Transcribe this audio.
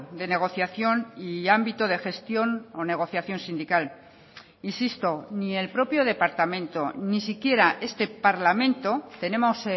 de negociación y ámbito de gestión o negociación sindical insisto ni el propio departamento ni siquiera este parlamento tenemos